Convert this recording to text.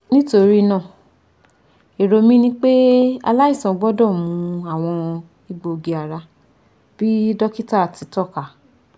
Nitorinaa, ero mi ni pe alaisan gbọdọ mu awọn egboogi-ara bi dokita ti tọka